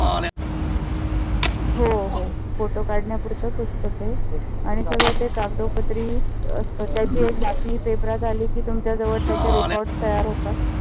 हो हो. photo काढण्या पुरंच असत ते आणि सगळ ते कागदोपत्री असत. त्याची एक बातमी paper रात आली कि तुमच्या जवळ त्याचे records तयार होतात.